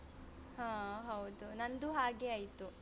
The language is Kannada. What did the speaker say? ಹಾ ಹೌದು ನಂದು ಹಾಗೆ ಆಯ್ತು.